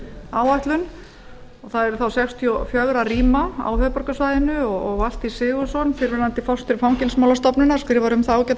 áætlun og það yrði þá sextíu og fjögur rýma á höfuðborgarsvæðinu og valtýr sigurðsson fyrrverandi forstjóri fangelsismálastofnunar skrifaði um það ágæta